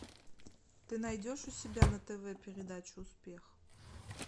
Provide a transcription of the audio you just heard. ты найдешь у себя на тв передачу успех